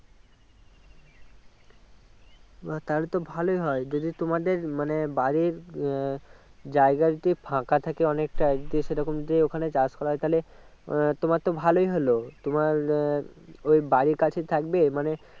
আহ তাহলে তো ভালোই হয় যদি তোমাদের মানে বাড়ির আহ জায়গা যদি ফাঁকা থাকে অনেকটা দিয়ে সেরকম দিয়ে ওখানে চাষ করা হয় তাহলে আহ তোমার তো ভালোই হলো তোমার আহ ওই বাড়ির কাছে থাকবে মানে